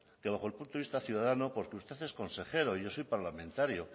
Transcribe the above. que bajo el punto de vista ciudadano porque usted es consejero y yo soy parlamentario